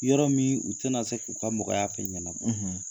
Yɔrɔ min u tɛna se k'u ka mɔgɔya fɛ'iɲɛna.